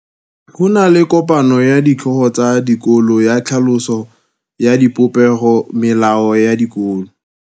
Go na le kopanô ya ditlhogo tsa dikolo ya tlhaloso ya popêgô ya melao ya dikolo.